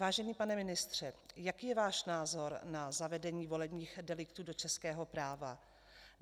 Vážený pane ministře, jaký je váš názor na zavedení volebních deliktů do českého práva?